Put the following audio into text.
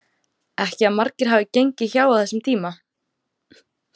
Ekki að margir hafi gengið hjá á þessum tíma.